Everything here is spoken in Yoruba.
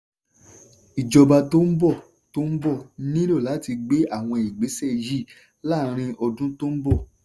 ìjọba tó bọ̀ tó bọ̀ nílò láti gbé àwọn ìgbésẹ̀ yìí láàrín ọdún tó bọ̀.